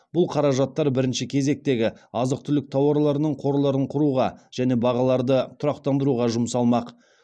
бұл қаражаттар бірінші кезектегі азық түлік тауарларының қорларын құруға және бағаларды тұрақтандыруға жұмсалмақ